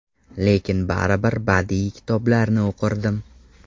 Lekin baribir badiiy kitoblarni o‘qirdim.